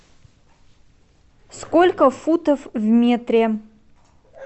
сколько футов в метре